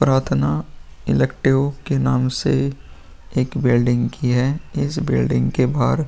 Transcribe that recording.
प्राथना इलेक्टिव के नाम से एक बिल्डिंग की है। इस बिल्डिंग के बाहर --